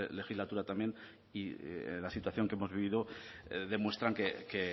legislatura también y la situación que hemos venido demuestran que